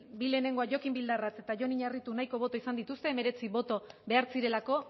bi lehenengoak jokin bildarratz eta jon iñarritu nahiko boto izan dituzte hemeretzi boto behar zirelako